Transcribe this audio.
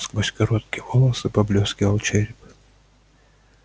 сквозь короткие волосы поблескивал череп